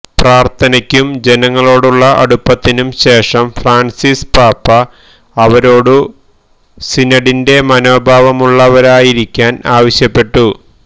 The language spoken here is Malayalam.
പ്രാർത്ഥനയ്ക്കും ജനങ്ങളോടുള്ള അടുപ്പത്തിനും ശേഷം ഫ്രാൻസിസ് പാപ്പാ അവരോടു സിനഡിന്റെ മനോഭാവമുള്ളവരായിരിക്കാന് ആവശ്യപ്പെട്ടു